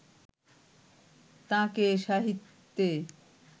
তাঁকে সাহিত্যে